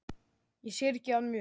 Ég syrgi hann mjög.